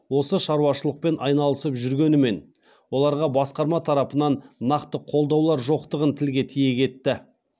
осы шарушылықпен айналысып жүргенімен оларға басқарма тарапынан нақты қолдаулар жоқтығын тілге тиек етті